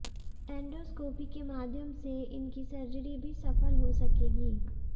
endoscopy के माध्यम से इनकी सर्जरी भी सफल हो सकेगी